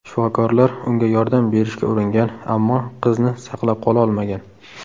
Shifokorlar unga yordam berishga uringan, ammo qizni saqlab qololmagan.